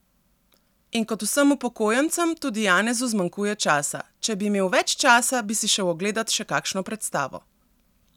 In kot vsem upokojencem tudi Janezu zmanjkuje časa: "Če bi imel več časa, bi si šel ogledat še kakšno predstavo.